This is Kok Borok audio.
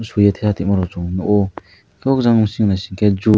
chuye teha tinma rok swng nogo anke o jang bising ni hingke juice.